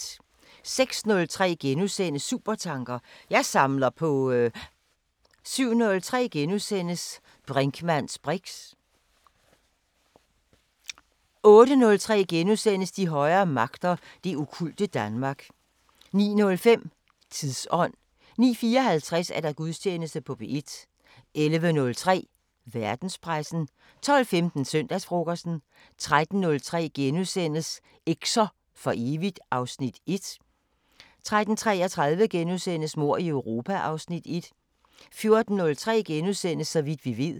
06:03: Supertanker: Jeg samler på ...* 07:03: Brinkmanns briks * 08:03: De højere magter: Det okkulte Danmark * 09:05: Tidsånd 09:54: Gudstjeneste på P1 11:03: Verdenspressen 12:15: Søndagsfrokosten 13:03: Eks'er for evigt (Afs. 1)* 13:33: Mord i Europa (Afs. 1)* 14:03: Så vidt vi ved *